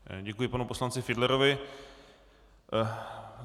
Děkuji panu poslanci Fiedlerovi.